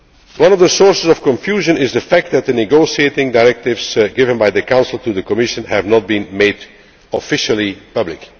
One of the sources of confusion is the fact that the negotiating directives given by the Council to the Commission have not been made officially public.